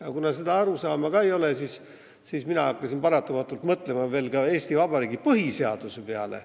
Aga kuna seda arusaama ka ei ole, siis mina hakkasin paratamatult mõtlema Eesti Vabariigi põhiseaduse peale.